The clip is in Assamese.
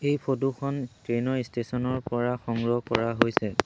এই ফটো খন ট্ৰেইন ৰ ষ্টেচন ৰ পৰা সংগ্ৰহ কৰা হৈছে।